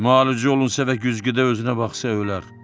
Müalicə olunsa və güzgüdə özünə baxsa ölər.